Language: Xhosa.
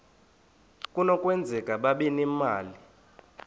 kunokwenzeka babe nemali